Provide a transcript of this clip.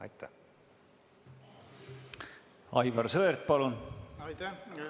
Aivar Sõerd, palun!